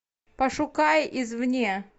пошукай из вне